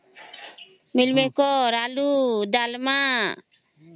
mill maker ଆଳୁ ଡାଲ୍ମା